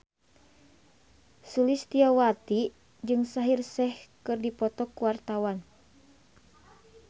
Sulistyowati jeung Shaheer Sheikh keur dipoto ku wartawan